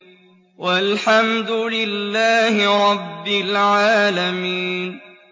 وَالْحَمْدُ لِلَّهِ رَبِّ الْعَالَمِينَ